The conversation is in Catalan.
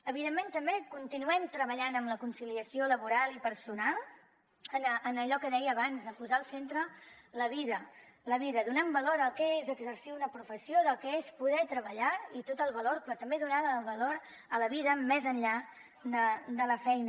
evidentment també continuem treballant en la conciliació laboral i personal en allò que deia abans de posar al centre la vida la vida donant valor al que és exercir una professió al que és poder treballar i tot el valor però també donant valor a la vida més enllà de la feina